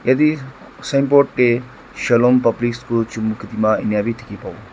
eti sign board te shalom public school chumukedima inia bi dikhi pou.